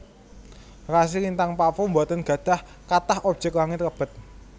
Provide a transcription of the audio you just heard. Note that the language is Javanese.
Rasi lintang pavo boten gadhah kathah objek langit lebet